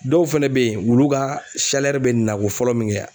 Dɔw fɛnɛ be yen wulu ka bɛ nako fɔlɔ min kɛ